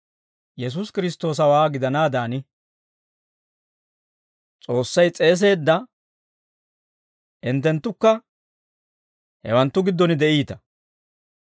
Yesuusi Kiristtoosawaa gidanaadan, S'oossay s'eeseedda hinttenttukka hewanttu giddon de'iita.